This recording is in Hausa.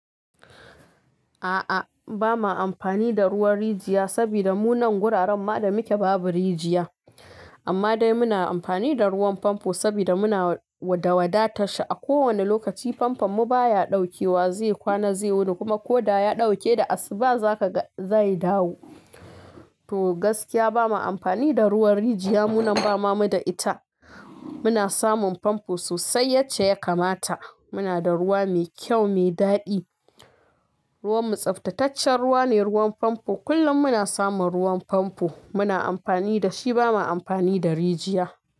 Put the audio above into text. A'a, ba ma amfani da ruwan rijiya saboda mu nan guraren ma da muke babu rijiya. Amma dai muna amfani da ruwan famfo saboda muna wada da wadatar shi a kowane lokaci. Famfam mu baya ɗaukewa zai kwana, zai wuni kuma ko da ya ɗauke da asu ba za ka ga zai dawo. To gaskiya ba ma amfani da ruwan rijiya. Mu nan ba ma mu da ita. Muna samun famfo sosai yacce ya kamata. Muna da ruwa mai kyau, mai daɗi. Ruwan mu tsaftataccen ruwa ne, ruwan famfo. Kullum muna samun ruwan famfo. Muna amfani da shi, ba ma amfani da rijiya.